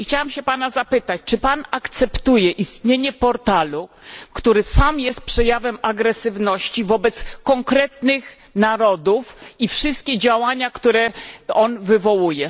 I chciałam się Pana zapytać, czy Pan akceptuje istnienie portalu, który sam jest przejawem agresywności wobec konkretnych narodów, i wszystkie działania, które on wywołuje.